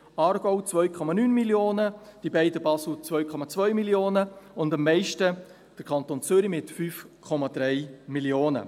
Der Aargau, 2,9 Mio. Franken, die beiden Basel 2,2 Mio. Franken und am meisten der Kanton Zürich mit 5,3 Mio. Franken.